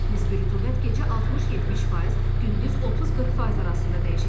Nisbi rütubət gecə 60-70%, gündüz 30-40% arasında dəyişəcək.